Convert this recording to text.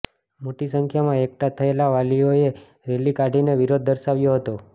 મોટી સંખ્યામાં એકઠા થયેલા વાલીઓએ રેલી કાઢીને વિરોધ દર્શાવ્યો હતો